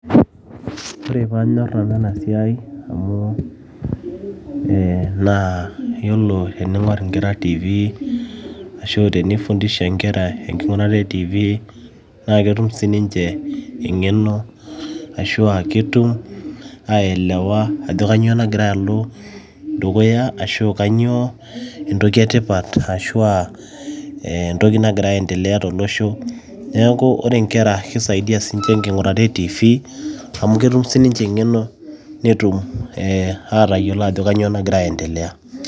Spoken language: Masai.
ore paanyorr nanu ena siai amu eh naa yiolo tening'orr inkera tv ashu tenifundisha inkera enking'urata etv naa ketum sininche eng'eno ashua ketum ae elewa ajo kanyio nagira alo dukuya ashu kanyio entoki etipat ashua entoki nagira aendelea tolosho neeku ore inkera kisaidia siinche enking'urata etv amu ketum sininche eng'eno netum eh atayiolo ajo kanyio nagora ae endelea.